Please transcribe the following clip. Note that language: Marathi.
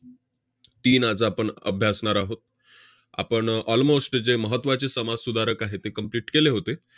तीन आज आपण अभ्यासणार आहोत. आपण almost जे महत्त्वाचे समाजसुधारक आहेत, ते complete केले होते.